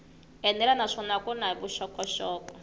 enela naswona ku na vuxokoxoko